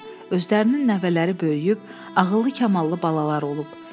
Özlərinin nəvələri böyüyüb, ağıllı-kamallı balalar olub.